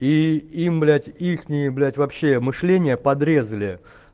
и им блять ихние блять вообще мышление подрезали